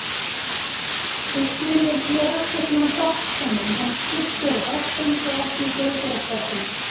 Þú skilur, ég er ekkert nema hjálpsemin en skipstjóri bátsins er ekki í góðgerðarstarfsemi.